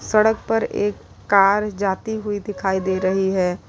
सड़क पर एक कार जाती हुई दिखाई दे रही है।